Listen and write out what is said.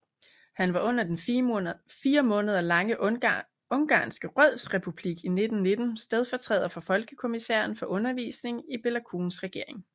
Han var under den fire måneder lange Ungarske Rådsrepublik i 1919 stedfortræder for folkekommissæren for undervisning i Béla Kuns regering